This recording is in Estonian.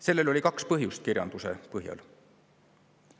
Sellel oli kirjanduse põhjal kaks põhjust.